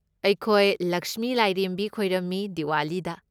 ꯑꯩꯈꯣꯏ ꯂꯛꯁꯃꯤ ꯂꯥꯏꯔꯦꯝꯕꯤ ꯈꯣꯏꯔꯝꯃꯤ ꯗꯤꯋꯥꯂꯤꯗ꯫